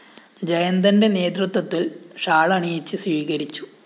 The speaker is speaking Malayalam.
ജയന്തന്റെ നേതൃത്വത്തില്‍ ഷാളണിയിച്ച് സ്വീകരിച്ചു